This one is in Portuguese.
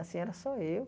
Assim, era só eu.